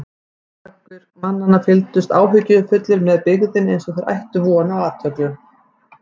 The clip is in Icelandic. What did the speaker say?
Margir mannanna fylgdust áhyggjufullir með byggðinni eins og þeir ættu von á atlögu.